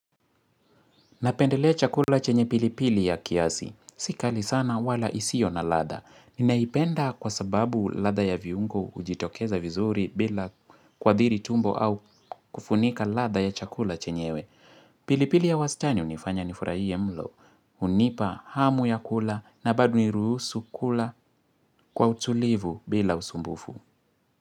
Napendelea chakula chenye pilipili ya kiasi. Si kali sana wala isio na ladha. Ninaipenda kwa sababu ladha ya viungo hujitokeza vizuri bila kuathiri tumbo au kufunika ladha ya chakula chenyewe. Pilipili ya wastani hunifanya nifurahie mlo. Hunipa, hamu ya kula na bado niruhusu kula kwa utulivu bila usumbufu.